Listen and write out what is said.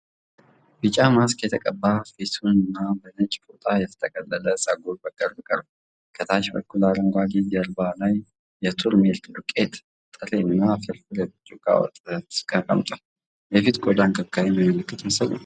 ቢጫ ማስክ የተቀባ ፊትና በነጭ ፎጣ የተጠቀለለ ፀጉር በቅርብ ቀርቧል። ከታች በኩል አረንጓዴው ጀርባ ላይ የቱርሜሪክ ዱቄት፣ ጥሬ ሥርና የብርጭቆ ወተት ተቀምጧል። የፊት ቆዳ እንክብካቤ የሚያመለክት ምስል ነው።